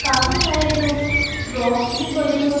काफी सारे जो रॉक्स भी पड़े हुए--